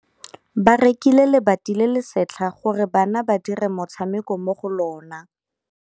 Ba rekile lebati le le setlha gore bana ba dire motshameko mo go lona.